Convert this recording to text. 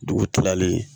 Dugu kilalen